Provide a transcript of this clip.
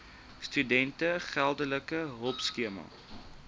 studente geldelike hulpskema